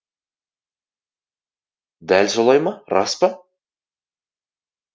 дә солай ма рас па